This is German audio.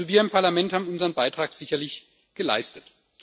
Also wir im Parlament haben unseren Beitrag sicherlich geleistet.